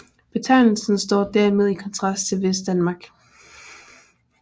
Betegnelsen står dermed i kontrast til Vestdanmark